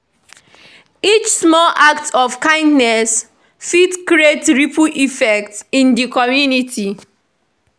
Each small act of kindness fit create ripple effect in di community.